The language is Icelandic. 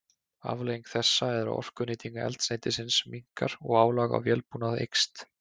Afleiðing þessa er að orkunýting eldsneytisins minnkar og álag á vélbúnað eykst.